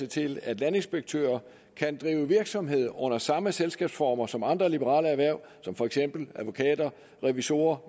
til at landinspektører kan drive virksomhed under samme selskabsformer som andre liberale erhverv som for eksempel advokater revisorer